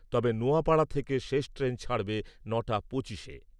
তবে, নোয়াপাড়া থেকে শেষ ট্রেন ছাড়বে ন'টা পঁচিশে।